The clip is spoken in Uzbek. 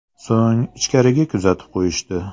So‘ng ichkariga kuzatib qo‘yishdi.